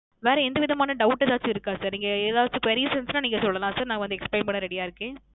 வேறு எந்த விதமான Doubt எதாச்சு இருக்க Sir நீங்க எதாச்சு queries இருந்த நீங்க சொல்லாம் sir நா Explain பண்ண Ready யா இருக்கேன்